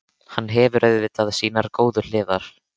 Hann hefur auðvitað sínar góðu hliðar.